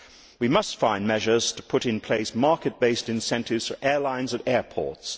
We must find measures to put in place market based incentives for airlines and airports.